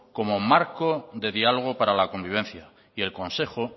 como marco de diálogo para la convivencia y el consejo